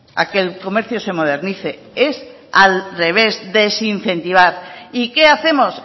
a que el comercio se modernice es al revés desincentivar y qué hacemos